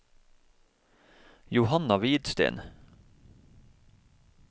Johanna Hvidsten